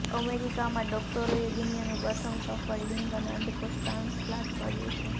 અમેરિકામાં ડોક્ટરોએ દુનિયાનું પ્રથમ સફળ લિંગ અને અંડકોશ ટ્રાન્સપ્લાન્ટ કર્યું છે